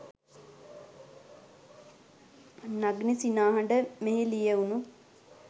නගන සිනාහඬ මෙහි ලියවුණු